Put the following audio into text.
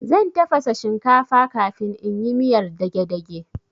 Zan tafasa shinkafa kafin in yi miyar dagedage